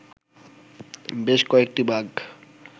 বেশ কয়েকটি বাঘ